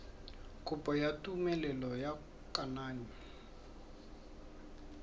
kopo ya tumelelo ya kananyo